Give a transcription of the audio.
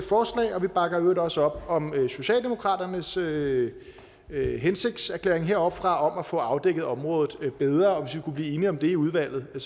forslag og vi bakker i øvrigt også op om socialdemokratiets hensigtserklæring heroppefra om at få afdækket området bedre og hvis vi kunne blive enige om det i udvalget var